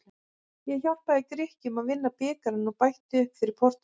Ég hjálpaði Grikkjum að vinna bikarinn og bætti upp fyrir Portúgal.